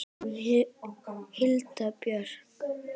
Hulda Björk.